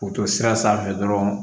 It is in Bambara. K'u to sira sanfɛ dɔrɔn